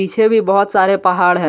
पीछे भी बहोत सारे पहाड़ है।